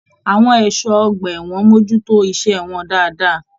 Àwọn ẹṣọ ọgbà ẹwọn mojútó iṣẹ wọn dáadáa.